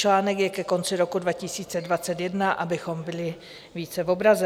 - Článek je ke konci roku 2021, abychom byli více v obraze.